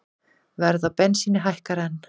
Verð á bensíni hækkar enn